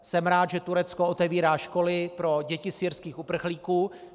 Jsem rád, že Turecko otevírá školy pro děti syrských uprchlíků.